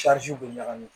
bɛ ɲagami